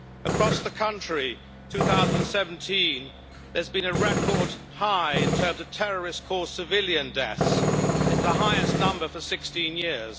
Across the country, 2017 has seen a record high in terms of terrorist-caused civilian deaths, the highest number for 16 years.